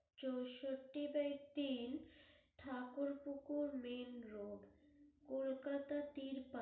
চৌষট্টি by তিন Thakurpukur main road Kolkata তিন